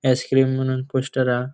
आईस्क्रीम म्हणून पोस्टर हा.